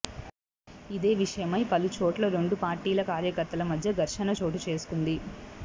ఇదే విషయమై పలు చోట్ల రెండు పార్టీల కార్యకర్తల మధ్య ఘర్షణ చోటు చేసుకొంది